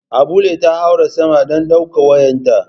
Abulle ta haura sama dan daukar wayarta.